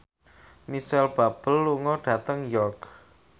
Micheal Bubble lunga dhateng York